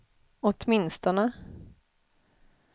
åtminstone